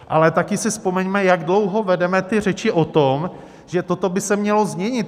Ale také si vzpomeňme, jak dlouho vedeme ty řeči o tom, že toto by se mělo změnit.